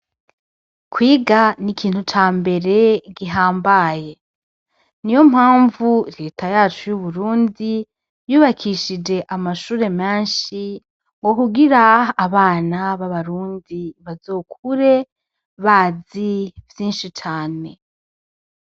Kwiga ni ikintu ca mbere gihambaye ni yo mpamvu reta yacu y'uburundi yubakishije amashure menshi ngo kugira abana b'abarundi bazokure bazi vyinshi cane.